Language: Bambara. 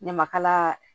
Ne makala